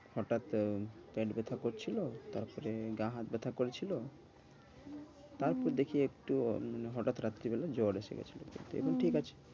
হটাৎ পেট ব্যাথা করছিলো তারপরে গা হাত ব্যাথা করছিলো। তারপর দেখি একটু হটাৎ রাত্রিবেলা জ্বর এসে গেছিলো। হ্যাঁ এইবার ঠিক আছি।